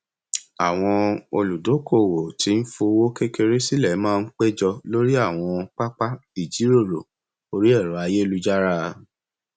àwọn oludokowo tí ń fowó kékeré sílẹ máa ń péjọ lórí àwọn pápá ìjíròrò orí ẹrọ ayélujára